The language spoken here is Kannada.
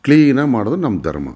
ಕ್ಲೀನ್ ಆಗಿ ಮಾಡುವುದು ನಮ್ಮ ಧರ್ಮ.